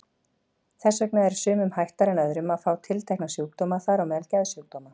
Þess vegna er sumum hættara en öðrum að fá tiltekna sjúkdóma, þar á meðal geðsjúkdóma.